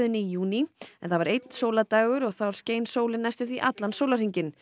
í júní en það var einn sólardagur og þá skein sólin næstum því allan sólarhringinn